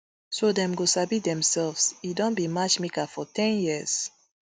so dem go sabi demselves e don be matchmaker for ten years